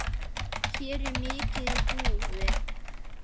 Hér er mikið í húfi.